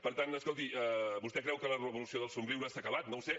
per tant escolti vostè creu que la revolució dels somriures s’ha acabat no ho sé